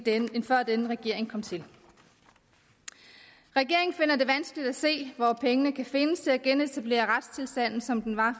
end før denne regering kom til regeringen finder det vanskeligt at se hvor pengene kan findes til at genetablere retstilstanden som den var